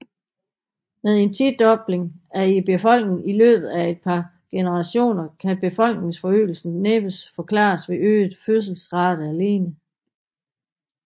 Med en tidobling i befolkningen i løbet af et par generationer kan befolkningsforøgelsen næppe forklares ved øget fødselsrate alene